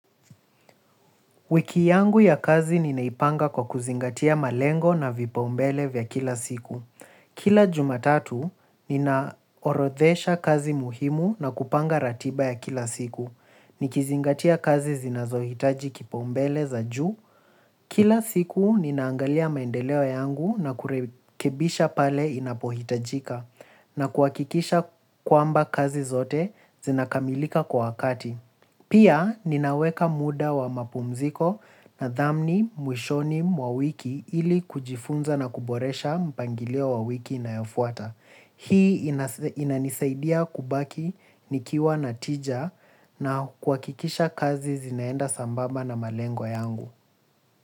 Wiki yangu ya kazi ninaipanga kwa kuzingatia malengo na vipaumbele vya kila siku. Kila Jumatatu, ninaorodhesha kazi muhimu na kupanga ratiba ya kila siku. Nikizingatia kazi zinazohitaji kipaumbele za juu. Kila siku, ninaangalia maendeleo yangu na kurekebisha pale inapohitajika, na kuhakikisha kwamba kazi zote zinakamilika kwa wakati. Pia ninaweka muda wa mapumziko na dhamni, mwishoni, mwa wiki ili kujifunza na kuboresha mpangilio wa wiki inayofuata. Hii inanisaidia kubaki nikiwa na tija na kuhakikisha kazi zinaenda sambamba na malengo yangu.